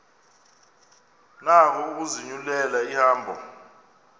nako ukuzinyulela ihambo